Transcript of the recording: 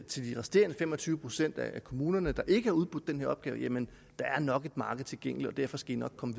til de resterende fem og tyve procent af kommunerne der ikke har udbudt den her opgave jamen der er nok et marked tilgængeligt og derfor skal i nok komme